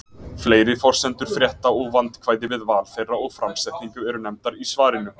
Fleiri forsendur frétta og vandkvæði við val þeirra og framsetningu eru nefndar í svarinu.